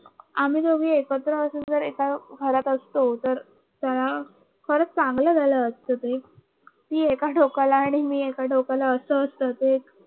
आम्ही दोघ एकत्र असतो तर एका घरात असतो तरत खरंच चांगलं झालं असतं ते ती एका टोकाला आणि मी एका टोकाला अस असत ते